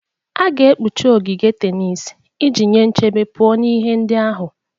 A ga-ekpuchi ogige tenis iji nye nchebe pụọ na ihe ndị ahụ.